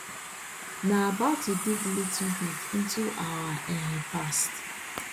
na about to dig little bit into our um past